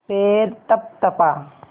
पैर तपतपा